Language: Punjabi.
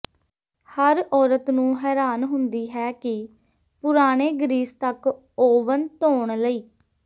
ਹਰ ਔਰਤ ਨੂੰ ਹੈਰਾਨ ਹੁੰਦੀ ਹੈ ਕਿ ਪੁਰਾਣੇ ਗਰੀਸ ਤੱਕ ਓਵਨ ਧੋਣ ਲਈ